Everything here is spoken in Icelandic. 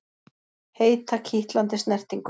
Heita, kitlandi snertingu.